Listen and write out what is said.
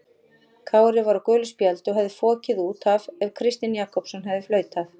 Kári var á gulu spjaldi og hefði fokið út af ef Kristinn Jakobsson hefði flautað.